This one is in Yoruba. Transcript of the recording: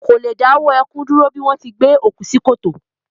Kò le dáwọ́ ẹkún dúró bí wọ́n ti gbé òkú sí kòtò